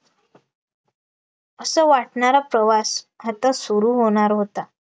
असं वाटणारा प्रवास आता सुरू होणार होता